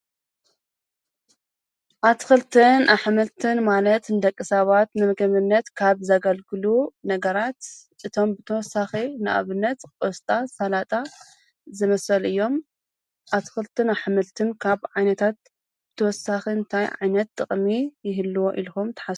ኣትክልትን ኣሕምልትን ማለት ንደቂ ሰባት ንምግብነት ካብ ዘገልግሉ ነገራት እቶም ብተወሳኪ ን ኣብነት ቆስጣ፡ሰላጣ ዝመሰሉ እዮም። ኣትክልትን ኣሕምልትን ካብ ዓይነታት ብተወሳኪ እንታይ ዓይነት ጥቅሚ ይህልዎ ኢልኩም ትሓስቡ?